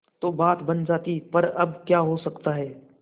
तो बात बन जाती पर अब क्या हो सकता है